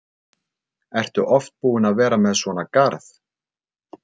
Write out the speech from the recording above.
Ertu oft búin að vera með svona garð?